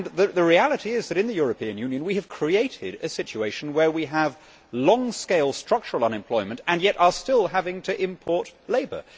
The reality is that in the European Union we have created a situation where we have long scale structural unemployment and yet are still are having to import labour.